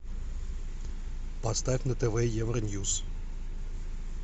поставь на тв евроньюс